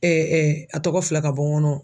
a tɔgɔ filɛ ka bɔ n kɔnɔ.